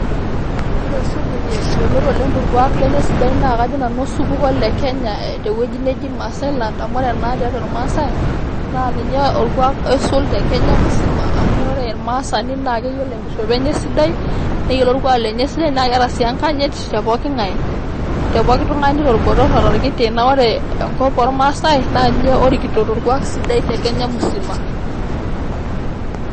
Wore supuki yioloti oleng torkuak sidai tolosho le kenya tewueji neji maasailand tiatua ilmaasai na ninye olkuaak oisul te kenya musima amu wore olmaasani na keyiolo enkishopo sidai neyiolo olkuaak sidai tepookin ng'ai tolbotor otolkiti wore enkop ilmaasai ninje orikito tolkuak sidai tenkop musima